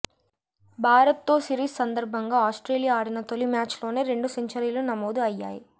భారత్తో సిరీస్ సందర్భంగా ఆస్ట్రేలియా ఆడిన తొలి మ్యాచ్లోనే రెండు సెంచరీలు నమోదు అయ్యాయి